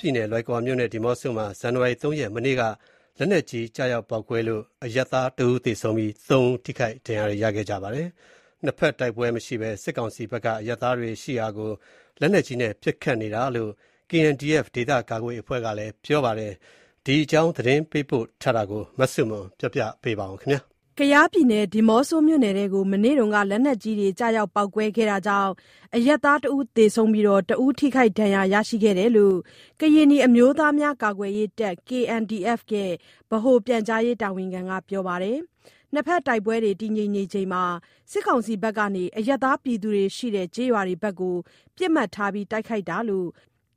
ပြည်နယ်၊ လွိုင်ကော်နဲ့ဒီးမော့ဆိုမှာ ဇန်နဝါရီ ၃ ရက် မနေ့က လက်နက်ကြီးကျရောက်ပေါက်ကွဲလို့ အရပ်သားတဦးသေဆုံးပြီး သုံးဦး ထိခိုက်ဒဏ်ရာရပါတယ်။ နှစ်ဘက်တိုက်ပွဲမရှိဘဲ စစ်ကောင်စီဘက်က အရပ်သားတွေရှိရာကို လက်နက်ကြီးနဲ့ပစ်ခတ်နေတာလို့ KNDF ဒေသကာကွယ်ရေးအဖွဲ့က ပြောပါတယ်။ ဒီအကြောင်း သတင်းပေးပို့ထားတာကို မဆုမွန်က တင်ပြပေးထားပါတယ်။ ဒီးမော့ဆိုမြို့နယ်ထဲကို မနေ့က လက်နက်ကြီးတွေကျရောက်ပေါက်ကွဲတာကြောင့် အရပ်သားတဦးသေဆုံးပြီး တဦးထိခိုက်ဒဏ်ရာရရှိတယ်လို့ ကရင်နီအမျိုးသားများကာကွယ်ရေးတပ် KNDF ဗဟို ပြန်ကြားရေးတာဝန်ခံက ပြောပါတယ်။ နှစ်ဘက်တိုက်ပွဲတည်ငြိမ်ချိန်မှာ စစ်ကောင်စီဘက်က အရပ်သားရှိတဲ့ ကျေး ရွာတွေဘက်ကို ပစ်မှတ်ထားတိုက်ခိုက်နေတာလို့